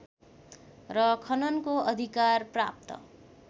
र खननको अधिकार प्राप्त